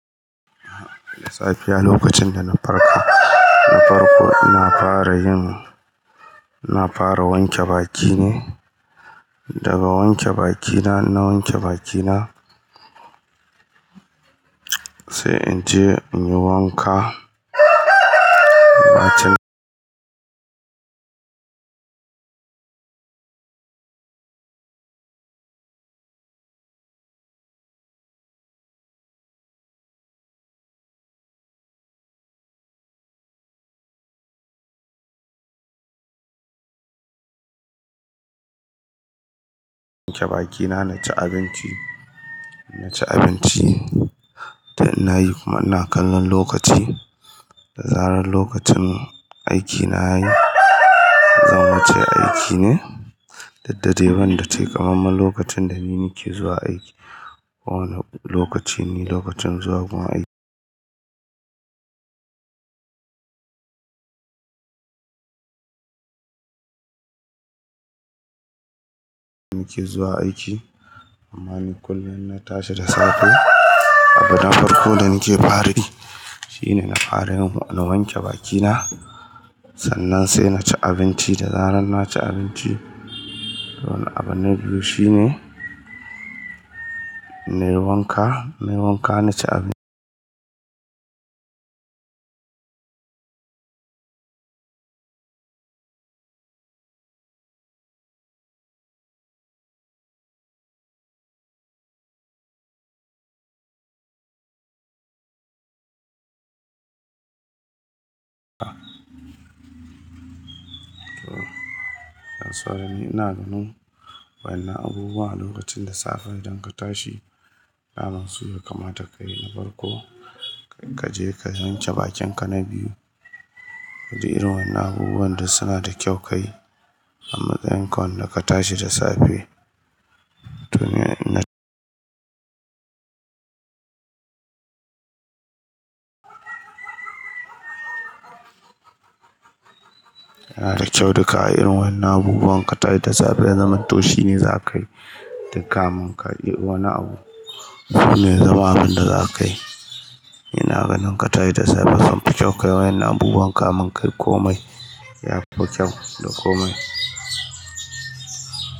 Da safiya lokacin da na farka, na farko ina fara yin, ina fara wanke baki ne. Daga wanke bakina, na wanke bakina sai in je in yi wanka. Bakina naci abinci inci abinci da ina yi kuma ina kallon lokaci. Da zarar lokacin aikina ya yi, zan wuce aiki ne. Dudde banda takameme lokacin da nake zuwa aiki. Kowane lokaci ni lokacin zuwa gun aiki. Nake zuwa aiki. Amma ni kullum na tashi da safe. Abin farko da nake fara yi shine na fara yin, na wanke baki na. Sannan sai na ci abinci. Da zarar na ci abinci, wannan abin na biyu shine, na yi wanka, na yi wanka na ci abinci. Yanzu haka ni ina ganin waɗannan abubuwa lokacin da safe idan ka tashi, daman su ne kamata ka yi na farko. Kaje ka yanke bakinka na biyu. Du irin wannan abubuwan du suna da kyau ka yi. A matsayin ka wanda ka tashi da safe, tuni ina. Yana da kyau. Duka irin wannan abubuwan ka tashi da safe, zaman toshi ne za ka yi. Duk kamin kaje wani abu shine zamanin da za ka yi. Ina ganin ka tashi da safe samfi kyau ka yi wannan abubuwan kamun kai komai ya fi kyau da komai.